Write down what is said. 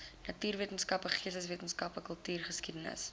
natuurwetenskappe geesteswetenskappe kultuurgeskiedenis